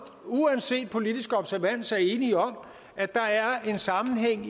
uanset politisk observans er enige om at der er en sammenhæng